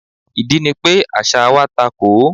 Ìdí ni pé àṣà wa takò ó.